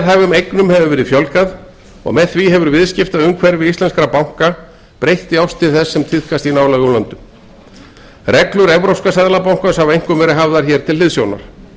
veðhæfum eignum hefur verið fjölgað og með því hefur viðskiptaumhverfi íslenskra banka breyst í átt til þess sem tíðkast í öðrum iðnríkjum reglur evrópska seðlabankans hafa einkum verið hafðar til hliðsjónar